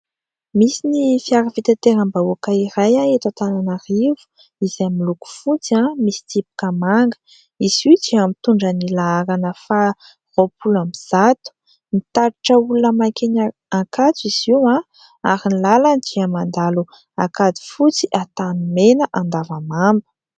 Misy ny fiara fitanteram-bahoaka iray eto Antananarivo izay miloko fotsy misy tsipika manga. Izy io dia mitondrany laharana faha roapolo amby zato. Mitatitra olona makeny Ankatso izy io ary ny lalany dia mandalo Ankadifotsy, Antanimena, Andavamamba.